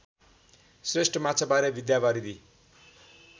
श्रेष्ठ माछाबारे विद्यावारिधि